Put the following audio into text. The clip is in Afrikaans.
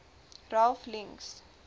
ralph links